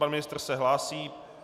Pan ministr se hlásí.